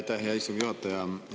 Aitäh, hea istungi juhataja!